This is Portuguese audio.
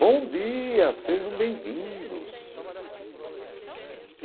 Bom dia, sejam bem-vindos.